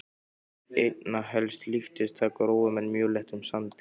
Einna helst líktist það grófum en mjög léttum sandi.